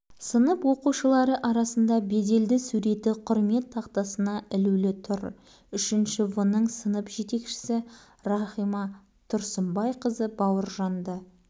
мұның аты мінездеме айналайын деу керек мұндай балаға ал жазушы үшін бұл аз жазушы адамның барлық